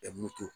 Ɛɛ moto